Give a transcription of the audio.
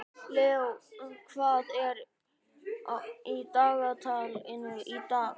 Leó, hvað er í dagatalinu í dag?